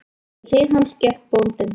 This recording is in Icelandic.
Við hlið hans gekk bóndinn.